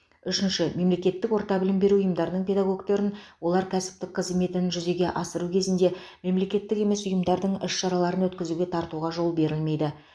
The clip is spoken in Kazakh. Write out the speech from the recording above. үшінші мемлекеттік орта білім беру ұйымдарының педагогтерін олар кәсіптік қызметін жүзеге асыру кезінде мемлекеттік емес ұйымдардың іс шараларын өткізуге тартуға жол берілмейді